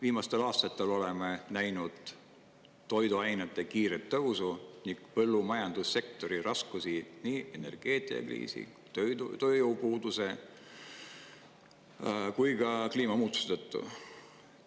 Viimastel aastatel oleme näinud toiduainete kiiret tõusu ning põllumajandussektori raskusi nii energeetikakriisi, tööjõupuuduse kui ka kliimamuutuste tõttu.